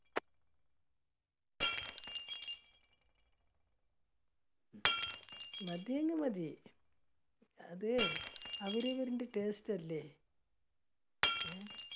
മതിയെങ്കിൽ മതി, അതെ അവരവരിന്റെ taste അല്ലേ അഹ്